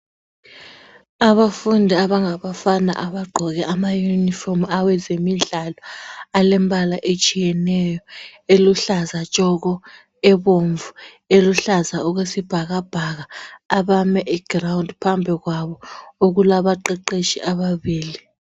Abafundi abangabafana abagqoke amayunifomu awezemidlalo alembala etshiyeneyo eluhlaza tshoko ebomvu eluhlaza okwesibhakabhaka abame egirawundi phambi kwabo okulaba abaqeqeshi ababili.